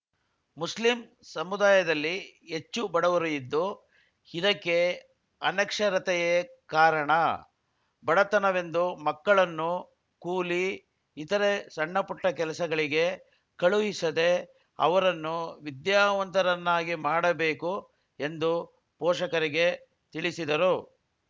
Muslim ಸಮುದಾಯದಲ್ಲಿ ಹೆಚ್ಚು ಬಡವರು ಇದ್ದು ಇದಕ್ಕೆ ಅನಕ್ಷರತೆಯೇ ಕಾರಣ ಬಡತನವೆಂದು ಮಕ್ಕಳನ್ನು ಕೂಲಿ ಇತರೆ ಸಣ್ಣಪುಟ್ಟಕೆಲಸಗಳಿಗೆ ಕಳುಹಿಸದೇ ಅವರನ್ನು ವಿದ್ಯಾವಂತರನ್ನಾಗಿ ಮಾಡಬೇಕು ಎಂದು ಪೋಷಕರಿಗೆ ತಿಳಿಸಿದರು